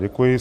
Děkuji.